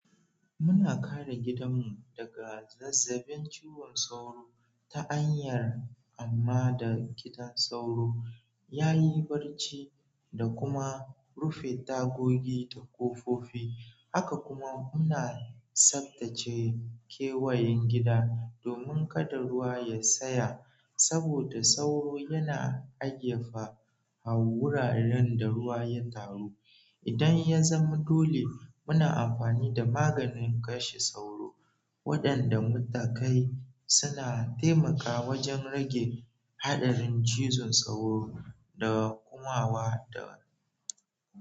Muna kare gidanmu daga zazzabin ciwon sauro ta hanyar amma da gidan sauro. Yayi barci da kuma rufe tagogi da ƙofofi. Haka kuma muna tsaftace kewayen gida domin kada ruwa ya tsaya. Saboda sauro yana agefa a wuraren da ruwa ya taru. Idan ya zama dole muna amfani da maganin kashe sauro waɗanda muka kai suna taimakawa wajen rage haɗarin cizon sauro da gumawa da.